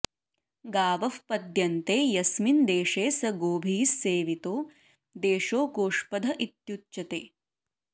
गावः पद्यन्ते यस्मिन् देशे स गोभिः सेवितो देशो गोष्पदः इत्युच्यते